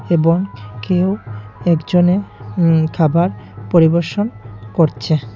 এবং কেউ একজনে উম খাবার পরিবেশন করছে।